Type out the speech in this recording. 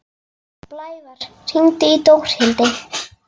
Blævar, hringdu í Dórhildi.